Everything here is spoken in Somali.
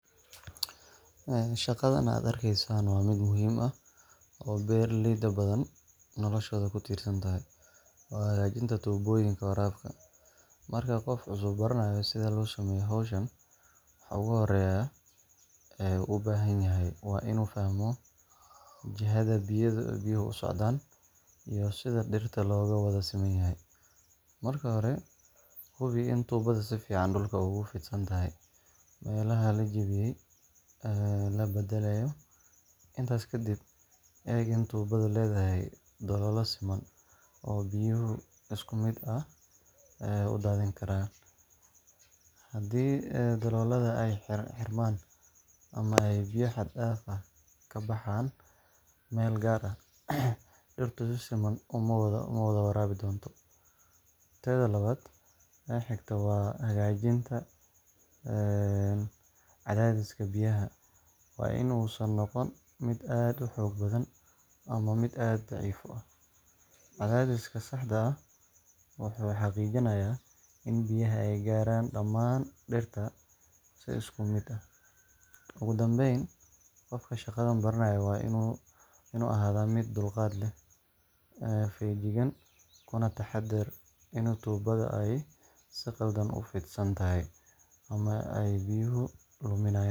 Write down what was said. En shaqadhan aad arkaysan wa midh muxiim ah oo berlayda badhan noloshoda kutirsantahay , marka gof cusub u baranayo sidha losameyo howshaan waxa oguhorrya uu ubahanyahay wa inu fahmo jihada niuaha uaocdaan, iyo sidha fiirta logawada simanyahay, marka hore hubi in tubada si fican ogufidsantahay mela lajawiyey aya labadalaya, intas kadib eg in tubada ledahay dolola siman oo biyuhu iskumid ay udaminkaraan, hadi ay dalolada ay hirmaan ama ay biya had daaf ah kabahaan mel gaar ah diirtu si siman umawada warabi donto, teda lawad oo higto wa hagajinta een cadadiska biyaha wa inu nogfo mid aad uhogaan ama mid daciif u ah, cadadiska sah ah wuxu hagijinaya in dirta si iskumid ah, ogudambeyn gofka shagadan baranayo wa inu ahada mid dulgat leh fayajigaan kunadahader inu tubada ay si qaldan ufidsantahay ama ay biyuhu modinayaan.